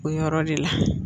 O yɔrɔ de la